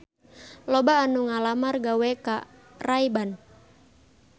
Loba anu ngalamar gawe ka Ray Ban